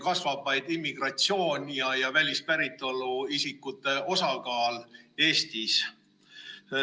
Kasvab vaid immigratsioon ja välispäritolu isikute osakaal Eestis.